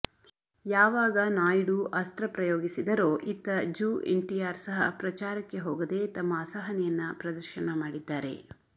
ಯಾವಾಗ ನಾಯ್ಡು ಅಸ್ತ್ರ ಪ್ರಯೋಗಿಸಿದರೋ ಇತ್ತ ಜು ಎನ್ಟಿಆರ್ ಸಹ ಪ್ರಚಾರಕ್ಕೆ ಹೋಗದೆ ತಮ್ಮ ಅಸಹನೆಯನ್ನ ಪ್ರದರ್ಶನ ಮಾಡಿದ್ದಾರೆ